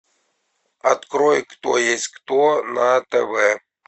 открой кто есть кто на тв